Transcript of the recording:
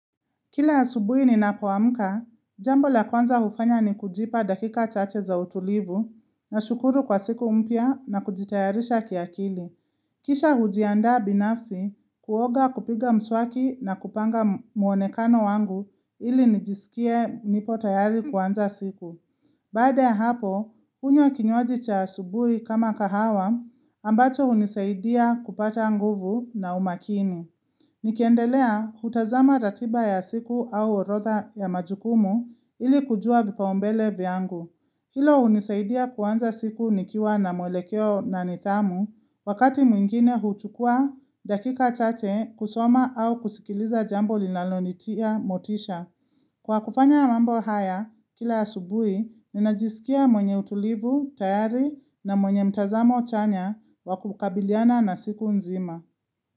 Kila asubuhi ninapoamka, jambo la kwanza hufanya ni kujipa dakika chache za utulivu, nashukuru kwa siku mpya na kujitayarisha kiakili. Kisha hujianda binafsi, kuoga, kupiga mswaki na kupanga muonekano wangu ili nijisikie nipo tayari kwanza siku. Baada ya hapo, hunywa kinywaji cha asubuhi kama kahawa, ambacho hunisaidia kupata nguvu na umakini. Nikiendelea hutazama ratiba ya siku au orodha ya majukumu ili kujua vipau mbele vyangu. Hilo hunisaidia kuanza siku nikiwa na mwelekeo na nidhamu. Wakati mwingine huchukua dakika chache kusoma au kusikiliza jambo linalonitia motisha. Kwa kufanya mambo haya, kila asubuhi, ninajisikia mwenye utulivu, tayari na mwenye mtazamo chanya wa kukabiliana na siku nzima.